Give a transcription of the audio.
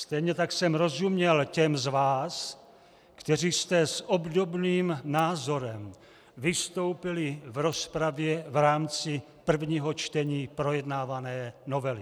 Stejně tak jsem rozuměl těm z vás, kteří jste s obdobným názorem vystoupili v rozpravě v rámci prvního čtení projednávané novely.